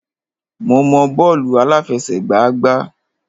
Mo mọ bọ́ọ̀lù àláfẹsẹ̀gbá gbá.